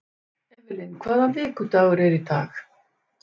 Evelyn, hvaða vikudagur er í dag?